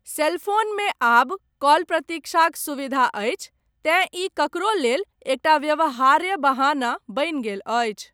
सेलफोनमे, आब कॉल प्रतीक्षाक सुविधा अछि, तेँ ई ककरो लेल, एकटा व्यवहार्य बहाना बनि गेल अछि।